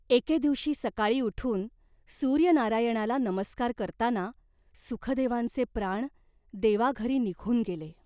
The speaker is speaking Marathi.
एके दिवशी सकाळी उठून सूर्यनारायणाला नमस्कार करताना सुखदेवांचे प्राण देवाघरी निघून गेले.